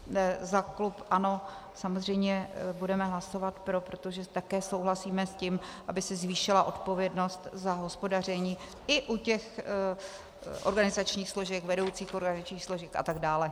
Za klub ANO samozřejmě budeme hlasovat pro, protože také souhlasíme s tím, aby se zvýšila odpovědnost za hospodaření i u těch organizačních složek, vedoucích organizačních složek a tak dále.